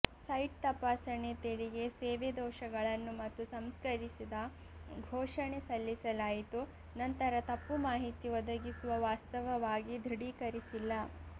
site ತಪಾಸಣೆ ತೆರಿಗೆ ಸೇವೆ ದೋಷಗಳನ್ನು ಮತ್ತು ಸಂಸ್ಕರಿಸಿದ ಘೋಷಣೆ ಸಲ್ಲಿಸಲಾಯಿತು ನಂತರ ತಪ್ಪು ಮಾಹಿತಿ ಒದಗಿಸುವ ವಾಸ್ತವವಾಗಿ ದೃಢೀಕರಿಸಿಲ್ಲ